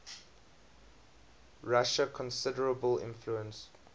russia considerable influence